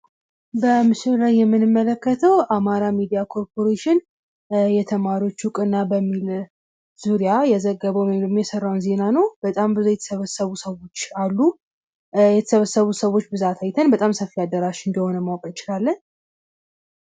በምስሉ ላይ የምንመለከተው አማራ ሚድያ ኮርፖሬሽን የተማሪዎች እውቅና በሚል ርዕስ ዙሪያ የዘገበውን ውይም የተሠራውን ዜና ነው በጣም የተሰበሰቡ ብዙ ሰዎች አሉ። የተሰበሰቡ ሰዎች ብዛት አይተን ሰፊ አዳራሽ እንደሆነ ማወቅ እንችላለን።